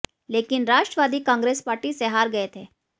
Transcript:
लेकिन राष्ट्रवादी कांग्रेस पार्टी से हार गए थे